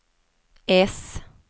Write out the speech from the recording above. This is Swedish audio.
äss